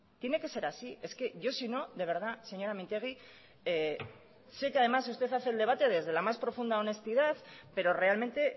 tiene que ser así es que yo sino de verdad señora mintegi sé que además usted hace el debate desde la más profunda honestidad pero realmente